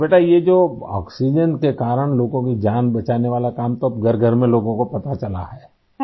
तो बेटा यह जो आक्सीजेन के कारण लोगों की जान बचाने वाला काम तो अब घरघर में लोगों को पता चला है आई